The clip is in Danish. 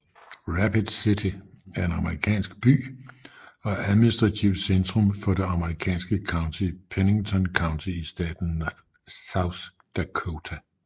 Rapid City er en amerikansk by og administrativt centrum for det amerikanske county Pennington County i staten South Dakota